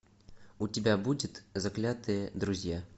у тебя будет заклятые друзья